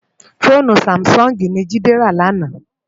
Fónú sámisòngi ni Jide rá làná